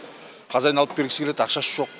хозяин алып бергісі келеді ақшасы жоқ